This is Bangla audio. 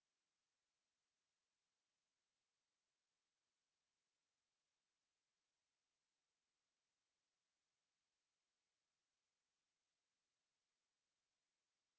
quada েত় একিট স্েপস্ আেছ